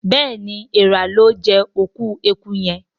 béèni Èèrà lọ jé òkú ẹkú yén.